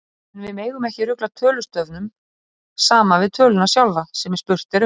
En við megum ekki rugla tölustafnum saman við töluna sjálfa, sem spurt er um.